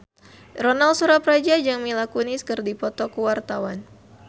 Ronal Surapradja jeung Mila Kunis keur dipoto ku wartawan